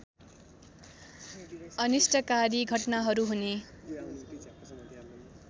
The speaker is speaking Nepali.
अनिष्टकारी घटनाहरू हुने